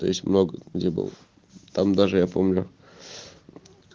то есть много где был там даже я помню